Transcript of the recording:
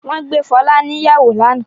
Wọ́n gbé Fọlá níyàwó lánàá?